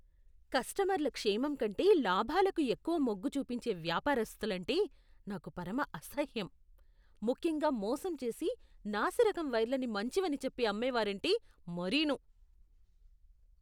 కస్టమర్ల క్షేమంకంటే లాభాలకు ఎక్కువ మొగ్గు చూపించే వ్యాపారస్తులంటే నాకు పరమ అసహ్యం. ముఖ్యంగా మోసంచేసి నాసిరకం వైర్లని మంచివని చెప్పి అమ్మేవారంటే మరీనూ.